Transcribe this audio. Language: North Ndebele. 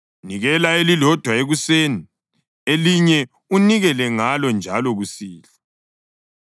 Nikela elilodwa ekuseni, elinye unikele ngalo njalo kusihlwa.